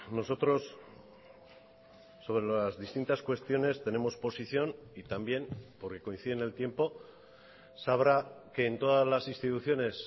nosotros sobre las distintas cuestiones tenemos posición y también porque coincide en el tiempo sabrá que en todas las instituciones